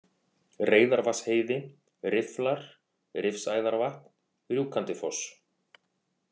Reyðarvatnsheiði, Rifflar, Rifsæðarvatn, Rjúkandifoss